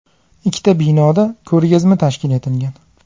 Ikkita binoda ko‘rgazma tashkil etilgan.